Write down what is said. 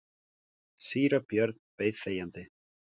Síra Björn beið þegjandi.